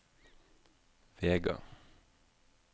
Vega